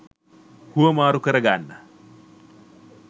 හුවමාරු කරගන්න